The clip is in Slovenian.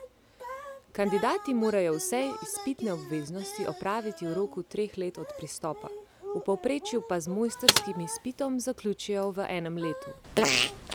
Kandidati morajo vse izpitne obveznosti opraviti v roku treh let od pristopa, v povprečju pa z mojstrskim izpitom zaključijo v enem letu.